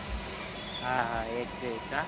હા હા એક ગઈ કા